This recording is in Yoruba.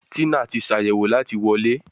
Tina tí Ṣàyẹ̀wò láti wọlé.